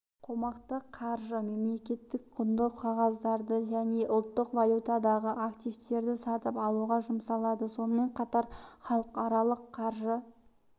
қомақты қаржы мемлекеттік құнды қағаздарды және ұлттық валютадағы активтерді сатып алуға жұмсалады сонымен қатар халықаралық қаржы